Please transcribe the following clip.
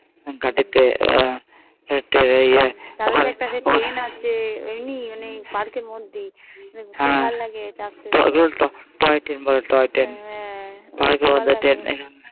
গাড়িতে হেটে Train আছে এমনি Park মধ্যেই হ্যাঁ ওগুলো Toy Train বলে